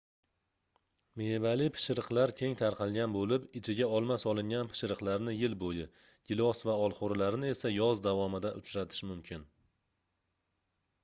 mevali pishiriqlar keng tarqalgan boʻlib ichiga olma solingan pishiriqlarni yil boʻyi gilos va olxoʻrililarini esa yoz davomida uchratish mumkin